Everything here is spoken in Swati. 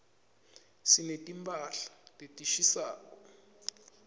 sineti mphahla letishisako